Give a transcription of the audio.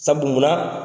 Sabu munna